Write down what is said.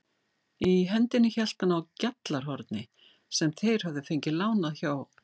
Í hendinni hélt hann á GJALLARHORNI sem þeir höfðu fengið lánað hjá